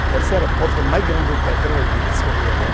O terceiro porto mais grande de petróleo que descobriu agora.